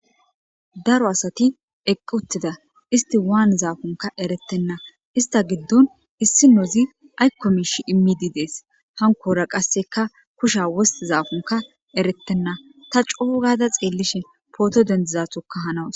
daro asati eqqi uttida isti waan zaakonka eretenna ista giddon issi nozi aykko miish immidi dees hankora qasseka kusha wosti zaafunka erettenna ta coogada xeellishin pooto dendizatokka hanawus